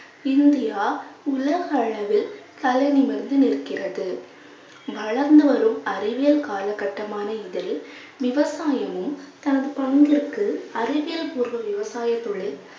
India உலக அளவில் தலை நிமிர்ந்து நிற்கிறது வளர்ந்து வரும் அறிவியல் காலகட்டமான இதில் விவசாயமும் தனது பங்கிற்கு, அறிவியல் பூர்வ விவசாயத் தொழில்